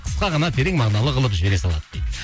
қысқа ғана терең мағыналы қылып жібере салады дейді